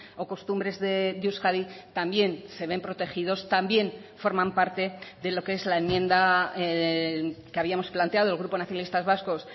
o costumbres de euskadi también se ven protegidos también forman parte de lo que es la enmienda que habíamos planteado el grupo socialistas vascos